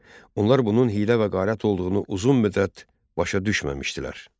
Onlar bunun hiylə və qərat olduğunu uzun müddət başa düşməmişdilər.